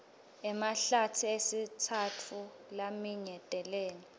emahlatsi esitsatfu laminyetelene